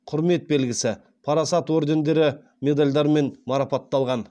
құрмет белгісі парасат ордендерімен медальдармен марапатталған